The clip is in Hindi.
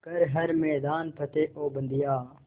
कर हर मैदान फ़तेह ओ बंदेया